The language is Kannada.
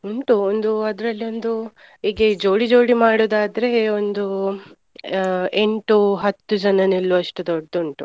ಉಂಟು ಒಂದ್ ಅದ್ರಲ್ಲಿ ಒಂದು ಹೀಗೆ ಜೋಡಿ ಜೋಡಿ ಮಾಡುದಾದ್ರೆ ಒಂದು ಆ ಎಂಟು ಹತ್ತು ಜನ ನಿಲ್ಲುವಷ್ಟು ದೊಡ್ದುಂಟು.